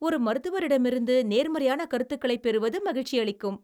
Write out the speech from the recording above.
ஒரு மருத்துவரிடமிருந்து நேர்மறையான கருத்துக்களைப் பெறுவது மகிழ்ச்சியளிக்கும்.